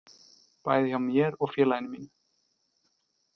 Bæði hjá mér og félaginu mínu.